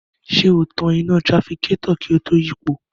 Ṣé o tan iná tirafikátọ̀ kí o tó yípo?